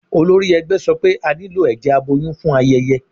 Olórí ẹgbẹ́ sọ pé a nílò ẹ̀jẹ̀ aboyún fún ayẹyẹ